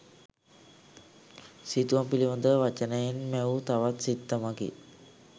සිතුවම් පිළිඳව වචනයෙන් මැවූ තවත් සිත්තමකි.